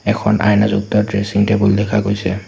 এখন আইনাযুক্ত dressing table দেখা গৈছে।